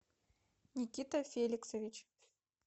никита феликсович